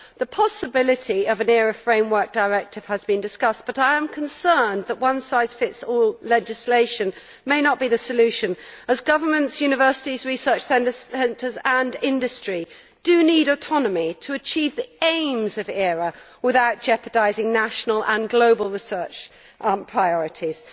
The possibility of an ERA framework directive has been discussed but I am concerned that a one size fits all legislation may not be the solution, as governments, universities, research centres and industry need autonomy to achieve the aims of ERA without jeopardising national and global research priorities.